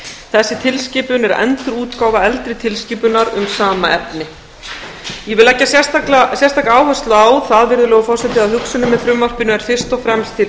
þessi tilskipun er endurútgáfa eldri tilskipunar um sama efni ég vil leggja sérstaka áherslu á það virðulegur forseti að hugsunin með frumvarpinu er fyrst og fremst til